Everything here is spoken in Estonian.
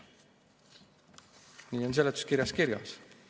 Nii on seletuskirjas kirjas.